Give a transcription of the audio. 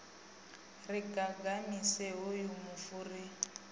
ri gagamise hoyu mufu ri